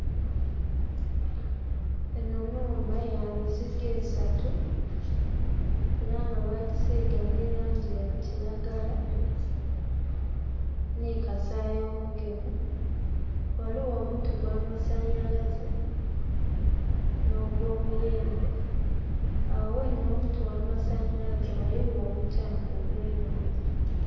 Eno nhumba ya mizigo esatu era nga bagisiiga ni langi ya kiragala ni kasayi omugemu. Waliwo omuti gwa masanhalaze n'ogwomuyembe. Awo wene wo muti gwa masanalaze waliwo omukyanga ogw'enhandha